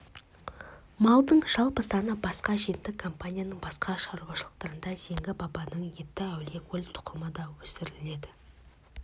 малдың жалпы саны басқа жетті компанияның басқа шаруашылықтарында зеңгі бабаның етті әулиекөл тұқымы да өсіріледі